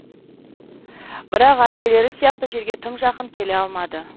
бірақ әпкелері сияқты жерге тым жақын келе алмады